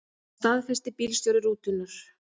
Það staðfesti bílstjóri rútunnar.